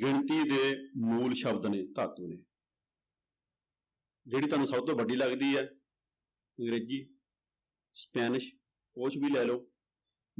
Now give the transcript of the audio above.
ਗਿਣਤੀ ਦੇ ਮੂਲ ਸ਼ਬਦ ਨੇ ਧਾਤੂ ਦੇ ਜਿਹੜੀ ਤੁਹਾਨੂੰ ਸਭ ਤੋਂ ਵੱਡੀ ਲੱਗਦੀ ਹੈ ਅੰਗਰੇਜ਼ੀ, ਸਪੈਨਿਸ਼ ਉਹ ਚ ਵੀ ਲੈ ਲਓ,